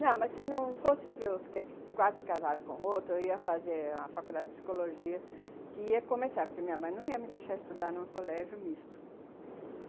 Não, mas se não fosse para eu ter quase casado com outro, eu ia fazer a faculdade de psicologia, que ia começar, porque minha mãe não ia me deixar estudar em um colégio misto.